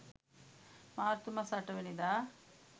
මාර්තු මස 08 වැනිදා